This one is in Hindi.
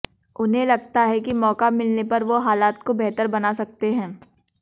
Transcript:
उन्हें लगता है कि मौका मिलने पर वो हालात को बेहतर बना सकते हैं